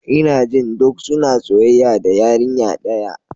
Ina jin duk suna soyayya da yarinya daya.